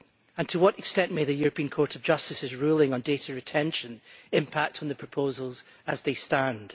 And to what extent may the European Court of Justice's ruling on data retention impact on the proposals as they stand?